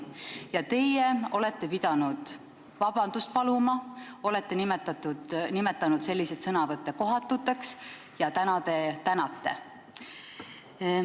Ja teie olete pidanud vabandust paluma, olete nimetanud selliseid sõnavõtte kohatuteks, aga täna te tänate neid.